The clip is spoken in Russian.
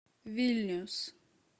вильнюс